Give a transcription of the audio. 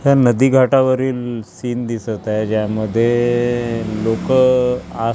ह्या नदीघाटावरील सीन दिसतं आहे. ज्यामध्ये लोकं आ--